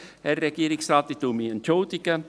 Herr Regierungsrat, ich entschuldige mich.